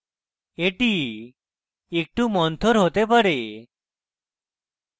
এটি একটু মন্থর হতে পারে